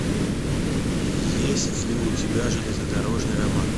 есть ли у тебя железнодорожный роман